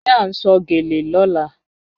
Ṣé à n sọ̀ gẹ́lẹ̀ ní ọ̀là?